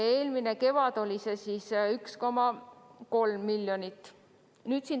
Eelmine kevad oli 1,3 miljonit.